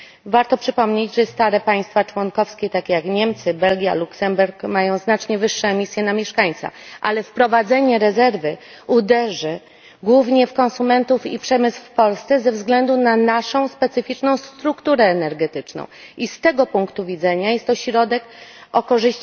Warto przypomnieć, że stare państwa członkowskie takie jak Niemcy, Belgia, Luksemburg mają znacznie wyższe emisje na mieszkańca, a wprowadzenie rezerwy uderzy głównie w konsumentów i przemysł w Polsce ze względu na naszą specyficzną strukturę energetyczną. I z tego punktu widzenia jest to środek o